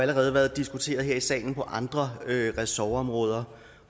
allerede været diskuteret her i salen på andre ressortområder